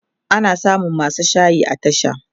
ana samun masu shayi a tasha